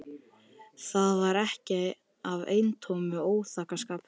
Það var ekki af eintómum óþokkaskap.